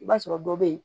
I b'a sɔrɔ dɔ bɛ yen